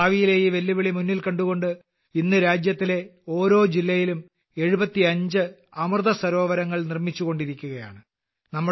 ഭാവിയിലെ ഈ വെല്ലുവിളി മുന്നിൽ കണ്ടുകൊണ്ട് ഇന്ന് രാജ്യത്തിന്റെ ഓരോ ജില്ലയിലും 75 അമൃതസരോവരങ്ങൾ നിർമ്മിച്ചുകൊണ്ടിരിക്കുകയാണ്